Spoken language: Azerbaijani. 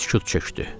Sükut çöktü.